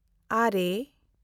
ᱟᱨᱮ